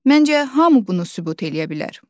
Məncə, hamı bunu sübut eləyə bilər.